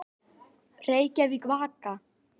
Reykjavík, Vaka.